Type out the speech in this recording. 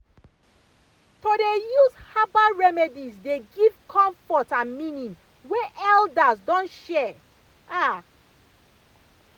to dey use herbal remedies dey give comfort and meaning wey elders don share pause ah.